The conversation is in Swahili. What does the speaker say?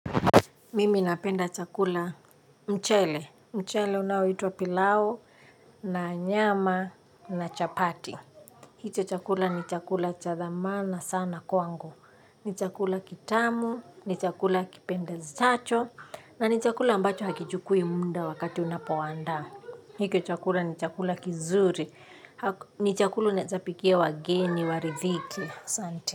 Mimi napenda chakula mchele, mchele unaoitwa pilau, na nyama, na chapati. Hicho chakula ni chakula cha dhamana sana kwangu. Ni chakula kitamu, ni chakula kipendezacho, na ni chakula ambacho hakichukui muda wakati unapoandaa. Hiko chakula ni chakula kizuri, hak ni chakula unaezapikia wageni, waridhike, asanti.